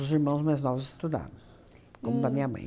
irmãos mais novos estudaram, como da minha mãe.